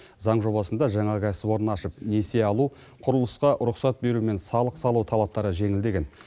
заң жобасында жаңа кәсіпорын ашып несие алу құрылысқа рұқсат беру мен салық салу талаптары жеңілдеген